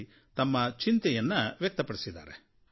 ಮಾತನಾಡಿ ತಮ್ಮ ಚಿಂತೆಯನ್ನು ವ್ಯಕ್ತಪಡಿಸಿದ್ದಾರೆ